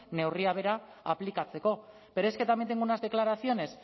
neurria bera aplikatzeko pero es que también tengo unas declaraciones